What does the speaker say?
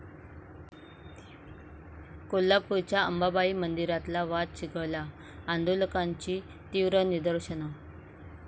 कोल्हापूरच्या अंबाबाई मंदिरातला वाद चिघळला, आंदोलकांची तीव्र निदर्शनं